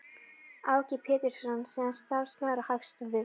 Áki Pétursson, síðar starfsmaður á Hagstofu